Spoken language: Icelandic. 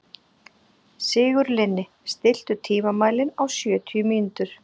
Sigurlinni, stilltu tímamælinn á sjötíu mínútur.